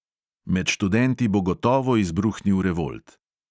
Med študenti bo gotovo izbruhnil revolt.